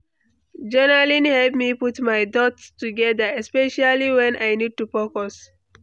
Journaling help me put my thoughts together, especially when I need to focus.